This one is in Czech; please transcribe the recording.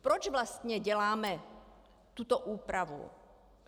Proč vlastně děláme tuto úpravu?